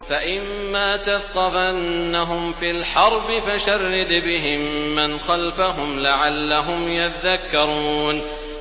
فَإِمَّا تَثْقَفَنَّهُمْ فِي الْحَرْبِ فَشَرِّدْ بِهِم مَّنْ خَلْفَهُمْ لَعَلَّهُمْ يَذَّكَّرُونَ